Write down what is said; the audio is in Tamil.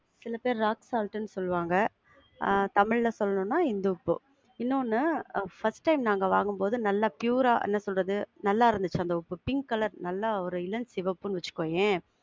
சில பேரு rock salt ன்னு சொல்லுவாங்க. ஆஹ் தமிழ்ல சொல்லனும்னா இந்துப்பு. இன்னொன்னு first time நாங்க வாங்கும் போது நல்ல pure ஆ என்ன சொல்றது? நல்லா இருந்திச்சி அந்த உப்பு, பிங்க் colour நல்ல ஒரு இளஞ்சிவப்புன்னு வச்சிக்கோயேன்.